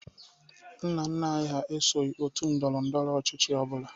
Nna nna anyị hà esoghi òtù ndọrọ ndọrọ ọchịchị ọ bụla.